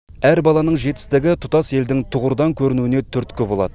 әр баланың жетістігі тұтас елдің тұғырдан көрінуіне түрткі болады